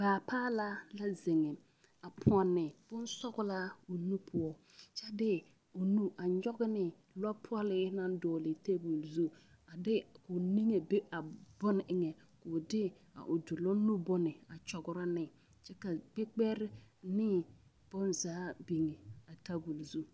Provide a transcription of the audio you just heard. Baapaalaa la zeŋe a pɔnne bonsɔglaa o nu poɔ kyɛ de o nu a nyɔge ne lɔɔpɔlee naŋ dɔgle tabol zu a de k,o niŋe be a bone eŋɛ k,o de a o doloŋ nu bone a kyɔgrɔ ne kyɛ ka kpekperi ne bonzaa biŋe a tabol zu.